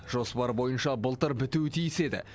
жоспар бойынша былтыр бітуі тиіс еді